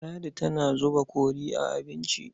Ladi tana zuba kori a abinci.